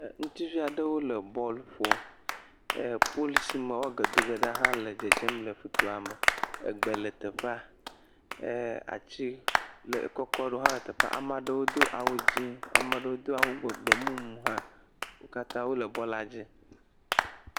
Ŋutsuvi aɖewo le bɔlu ƒom. Poli si me wo age doge ɖo hã le dzedzem le toa me. Egbe le teƒea. E atsi le kɔkɔ aɖewo hã le teƒa ame aɖewo do awu dzi. Ame ɖewo do awu gbemumu hã. Wo katã wole bɔl dzi.